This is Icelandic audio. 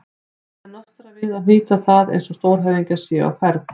Það er nostrað við að hnýta það eins og stórhöfðingjar séu á ferð.